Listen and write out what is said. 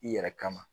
I yɛrɛ kama